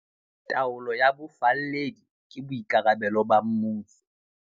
Taolo ya bofalledi ke boikarabelo ba mmuso.